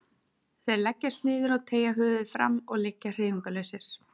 Þeir leggjast niður og teygja höfuðið fram og liggja hreyfingarlausir.